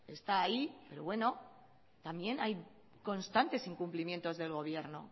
está ahí pero bueno también hay constantes incumplimientos del gobierno